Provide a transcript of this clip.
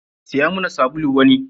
Siya muna sabulu wani.